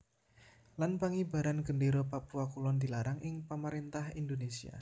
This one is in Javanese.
Lan Pangibaran gendéra papua kulon dilarang ing pamaréntah Indonésia